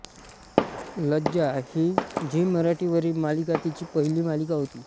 लज्जा ही झी मराठी वरील मालिका तिची पहिली मालिका होती